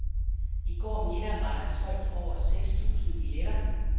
I går middag var der solgt over seks tusind billetter.